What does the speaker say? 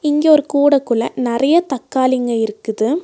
இங்க ஒரு கூட குள்ள நெறைய தக்காளிங்க இருக்குது.